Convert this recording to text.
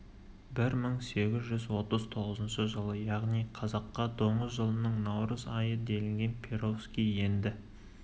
бір мың сегіз жүз отыз тоғызыншы жылы яғни қазақша доңыз жылының наурыз айы делінген перовский енді